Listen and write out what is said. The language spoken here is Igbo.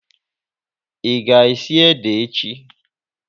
Ị ga esi ede echi?